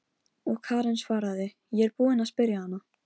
Og Karen svaraði: Ég er búin að spyrja hana.